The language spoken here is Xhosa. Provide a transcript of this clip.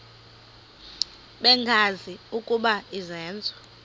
bengazi ukuba izenzo